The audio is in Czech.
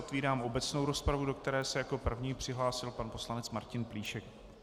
Otvírám obecnou rozpravu, do které se jako první přihlásil pan poslanec Martin Plíšek.